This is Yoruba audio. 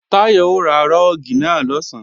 Táyọ̀ ó sá rúùgì náà lọ̀sán